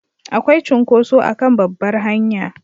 Akwai cunkoso a kan babbar hanya